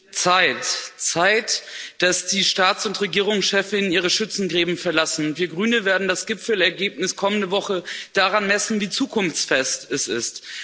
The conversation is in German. Frau Präsidentin! Es ist Zeit, dass die Staats und Regierungschefs ihre Schützengräben verlassen. Wir Grüne werden das Gipfelergebnis kommende Woche daran messen, wie zukunftsfest es ist.